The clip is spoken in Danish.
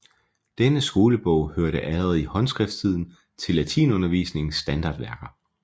Denne skolebog hørte allerede i håndskrifttiden til latinundervisningens standardværker